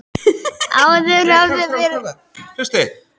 Áður hafði verið ferðast um flóann á smábátum.